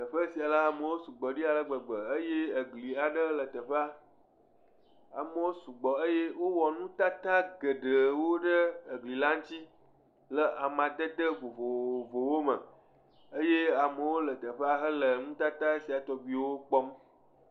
Teƒe sia la, amewo sugbɔ ɖi ale gbegbe, eye egli aɖe le teƒea, amewo sugbɔ eye wowɔ nutata geɖewo ɖe egli la ŋuti le amadede vovovowo me. Eye amewo le teƒea hele nutata sia tɔgbiwo kpɔm.